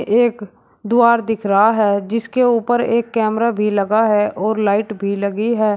एक द्वार दिख रहा है जिसके ऊपर एक कैमरा भी लगा है और लाइट भी लगी है।